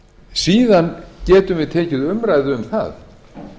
síðan getum við tekið umræðu um það